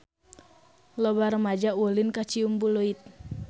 Loba rumaja ulin ka Ciumbuleuit